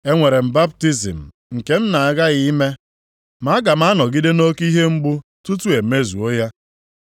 Enwere m baptizim nke m na-aghaghị ime, ma aga m anọgide nʼoke ihe mgbu tutu e mezuo ya